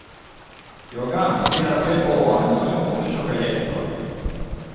Jag anser att det är barnen som vi måste försöka hjälpa.